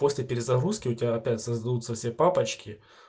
после перезагрузки у тебя опять создаются все папочки